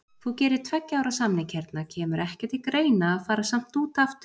Þú gerir tveggja ára samning hérna, kemur ekki til greina að fara samt út aftur?